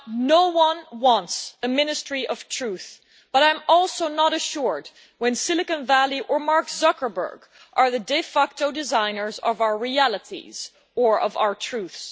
No one wants a Ministry of Truth, but I am also not reassured when Silicon Valley or Mark Zuckerberg are the de facto designers of our realities or of our truths.